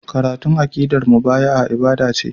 Karatun aqidar mubaya'a ibada ce.